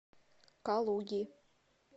калуги